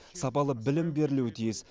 сапалы білім берілуі тиіс